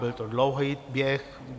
Byl to dlouhý běh.